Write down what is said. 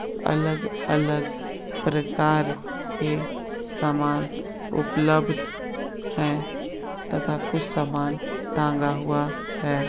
अलग-अलग प्रकार के समान उपलब्द हैं तथा कुछ समान टांगा हुआ है।